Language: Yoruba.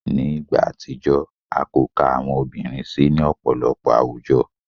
Ni igba atijọ, a ko ka awọn obirin si ni ọpọlọpọ awujo.